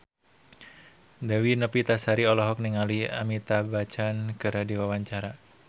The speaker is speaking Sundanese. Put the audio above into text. Dewi Novitasari olohok ningali Amitabh Bachchan keur diwawancara